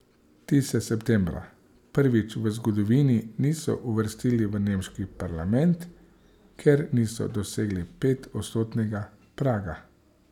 Ti se septembra prvič v zgodovini niso uvrstili v nemški parlament, ker niso dosegli petodstotnega praga.